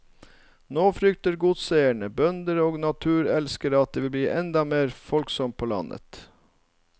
Nå frykter godseiere, bønder og naturelskere at det vil bli enda mer folksomt på landet.